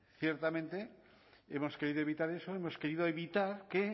ciertamente hemos querido evitar eso hemos querido evitar que